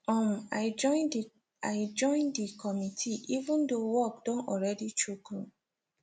um i join the i join the committee even though work don already choke me